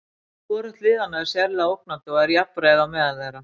Hvorugt liðanna er sérlega ógnandi og er jafnræði á meðal þeirra.